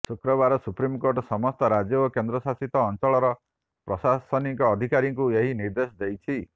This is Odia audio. ଶକ୍ରବାର ସୁପ୍ରିମକୋର୍ଟ ସମସ୍ତ ରାଜ୍ୟ ଓ କେନ୍ଦ୍ର ଶାସିତ ଅଞ୍ଚଳର ପ୍ରଶାସନିକ ଅଧିକାରୀଙ୍କୁ ଏହି ନିର୍ଦ୍ଦେଶ ଦେଇଛି